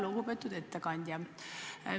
Lugupeetud ettekandja!